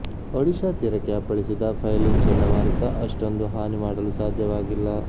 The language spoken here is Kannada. ಒಡಿಶಾ ತೀರಕ್ಕೆ ಅಪ್ಪಳಿಸಿದ ಫೈಲಿನ್ ಚಂಡಮಾರುತ ಅಷ್ಟೊಂದು ಹಾನಿ ಮಾಡಲು ಸಾಧ್ಯವಾಗಿಲ್ಲ